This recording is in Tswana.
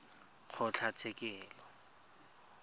kgotlatshekelo